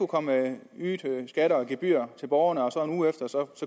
komme nye skatter og gebyrer til borgerne og så